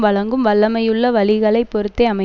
வழங்கும் வல்லமையுள்ள வழிகளை பொறுத்தே அமை